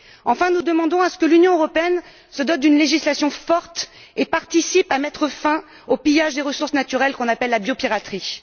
Enfin, nous demandons que l'Union européenne se dote d'une législation forte et contribue à mettre fin au pillage des ressources naturelles, qu'on appelle la biopiraterie.